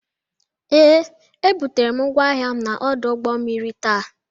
Ee, ebutere m ngwa ahịa m n'ọdụ ụgbọ mmiri ta.